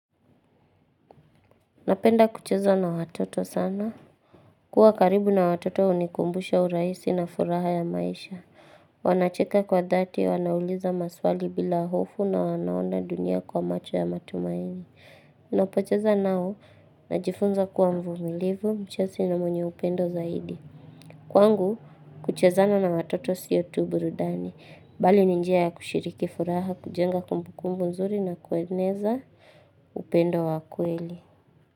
Napenda kucheza na watoto sana. Kuwa karibu na watoto hunikumbusha urahisi na furaha ya maisha. Wanacheka kwa dhati, wanauliza maswali bila hofu, na wanaona dunia kwa macho ya matumaini. Napocheza nao, najifunza kuwa mvumilivu, mchasi na mwenye upendo zaidi. Kwangu, kucheza na watoto siyo tu burudani. Bali ni njia ya kushiriki furaha, kujenga kumbukumbu nzuri, na kueneza upendo wa kweli.